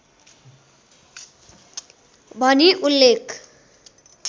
भनी उल्लेख